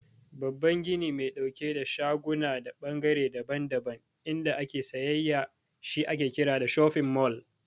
Babban gini mai ɗauke da shaguna da ɓangare daban-daban inda ake sayayya shi ake kira "shofin mall".